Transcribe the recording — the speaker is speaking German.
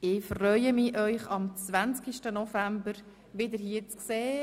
Ich freue mich, Sie am 20. November wieder hier zu sehen.